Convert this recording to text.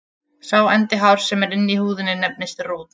Sá endi hárs sem er inni í húðinni nefnist rót.